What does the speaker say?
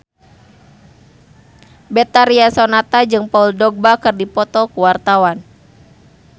Betharia Sonata jeung Paul Dogba keur dipoto ku wartawan